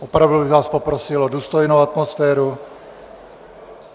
Opravdu bych vás poprosil o důstojnou atmosféru.